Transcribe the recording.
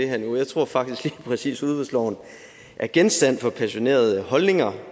her jeg tror faktisk at lige præcis udbudsloven er genstand for passionerede holdninger